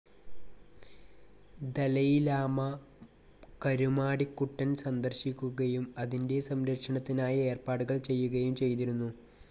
Dalai Lama Karumadikuttan സന്ദർശിക്കുകയും അതിന്റെ സം‌രക്ഷണത്തിനായി ഏർപ്പാടുകൾ ചെയ്യുകയും ചെയ്തിരുന്നു.